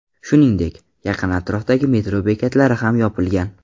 Shuningdek, yaqin atrofdagi metro bekatlari ham yopilgan.